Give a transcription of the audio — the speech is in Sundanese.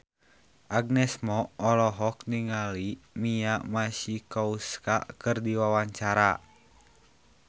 Agnes Mo olohok ningali Mia Masikowska keur diwawancara